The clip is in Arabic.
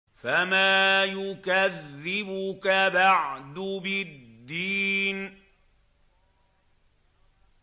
فَمَا يُكَذِّبُكَ بَعْدُ بِالدِّينِ